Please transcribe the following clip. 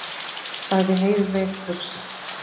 sagði Heiðveig hugsi.